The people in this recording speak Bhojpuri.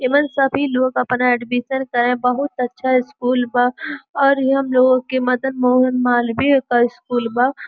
एमन सभी लोग अपना एडमिशन करे बहुत अच्छा स्कूल बा और हम लोगन के मदन मालवीय के स्कूल बा।